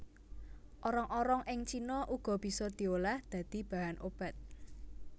Orong orong ing cina uga bisa diolah dadi bahan obat